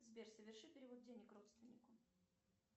сбер соверши перевод денег родственнику